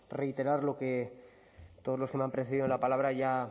reiterar lo que todos los que me han precedido la palabra ya